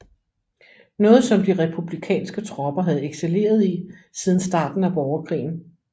Noget som de republikanske tropper havde excelleret i siden starten af borgerkrigen